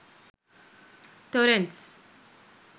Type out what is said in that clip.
torrents